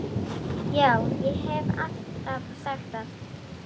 Já, ég haf alltaf sagt það.